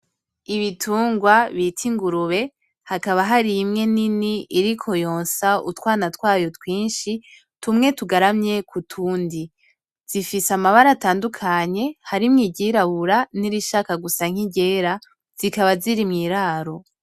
Ibitungwa bita ingurube, hakaba hari imwe nini iriko yonsa utwana twayo twinshi, tumwe tugaramye kutundi. Zifise amabara atandukanye, harimwo iry’irabura nirishaka Gusa N’iryera. Zikaba ziri mwiraro.